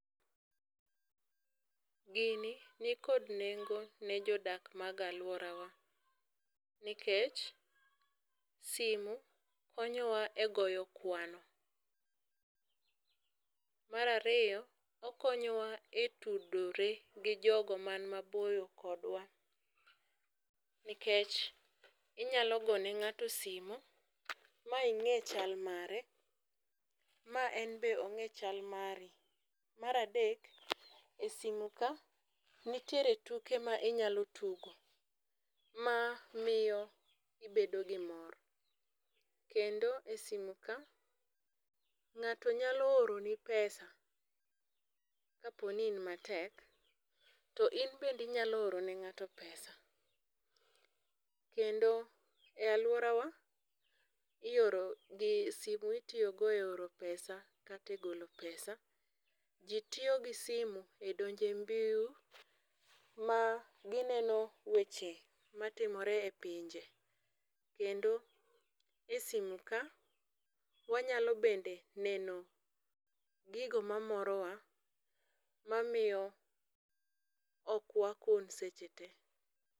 Gini nikod nengo ne jodak mag aluorawa nikech simu konyowa e goyo kwano, mar ariyo okonyowa e tudore gi jogo mani maboyo kodwa nikech inyalo gone ng'ato simu ma inge chal mare ma en bende ong'e chal mari. Mar adek,e simu ka nitiere tuke ma inyalo tugo mamiyo ibedo gi mor, kendo e simu ka ngato nyalo oroni pesa kaponi in matek to in bende inyalo oro ne ngato pesa. Kendo e aluorowa, iorogi, simu itiyo go e oro pesa kata golo pesa, ji tiyo gi simu e donje mbui ma gineno weche matimore e pinje kendo e simu ka wanyalo bende neno gigo mamorowa mamiyo ok wakun seche tee